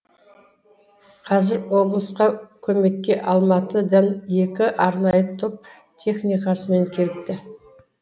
қазір облысқа көмекке алматыдан екі арнайы топ техникасымен келіпті